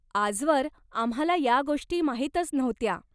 आजवर आम्हाला या गोष्टी माहीतच नव्हत्या.